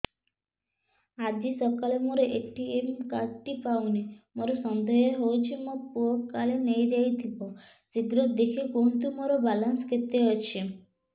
ଆଜି ସକାଳେ ମୋର ଏ.ଟି.ଏମ୍ କାର୍ଡ ଟି ପାଉନି ମୋର ସନ୍ଦେହ ହଉଚି ମୋ ପୁଅ କାଳେ ନେଇଯାଇଥିବ ଶୀଘ୍ର ଦେଖି କୁହନ୍ତୁ ମୋର ବାଲାନ୍ସ କେତେ ଅଛି